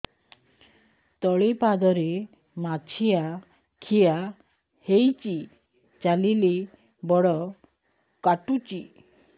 ତଳିପାଦରେ ମାଛିଆ ଖିଆ ହେଇଚି ଚାଲିଲେ ବଡ଼ କାଟୁଚି